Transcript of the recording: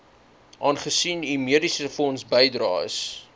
aangesien u mediesefondsbydraes